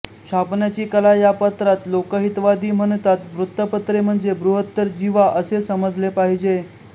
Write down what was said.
छापण्याची कला या पत्रात लोकहितवादी म्हणतात वृत्तपत्रे म्हणजे बृहत्तर जिव्हा असे समजले पाहिजे